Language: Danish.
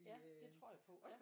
Ja det tror jeg på ja